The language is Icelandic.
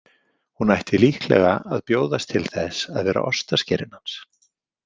Hún ætti líklega að bjóðast til þess að vera ostaskerinn hans.